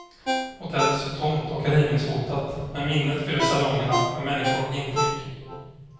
Hotellet står tomt och rivningshotat, men minnet fyller salongerna med människor och intryck.